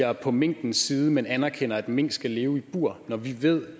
er på minkens side men erkender at mink skal leve i bur når vi ved